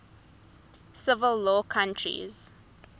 civil law countries